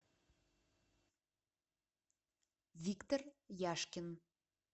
виктор яшкин